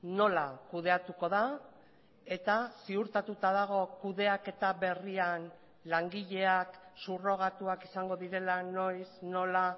nola kudeatuko da eta ziurtatuta dago kudeaketa berrian langileak subrogatuak izango direla noiz nola